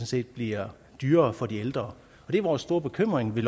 set bliver dyrere for de ældre og vores store bekymring ved